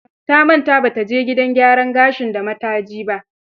Ta manta ba ta je gidan gyaran gashin da mataji ba.